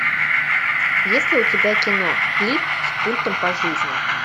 есть ли у тебя кино клик с пультом по жизни